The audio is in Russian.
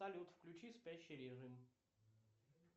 салют включи спящий режим